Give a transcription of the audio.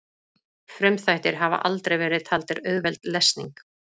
Frumþættir hafa aldrei verið taldir auðveld lesning.